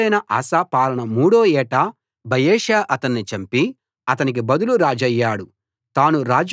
రాజైన ఆసా పాలన మూడో ఏట బయెషా అతన్ని చంపి అతనికి బదులు రాజయ్యాడు